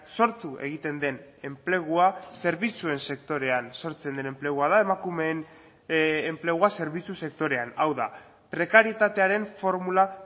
sortu egiten den enplegua zerbitzuen sektorean sortzen den enplegua da emakumeen enplegua zerbitzu sektorean hau da prekarietatearen formula